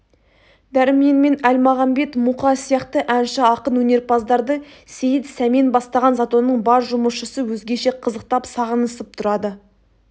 дәрмен мен әлмағамбет мұқа сияқты әнші-ақын өнерпаздарды сейіт сәмен бастаған затонның бар жұмысшысы өзгеше қызықтап сағынысып тұрады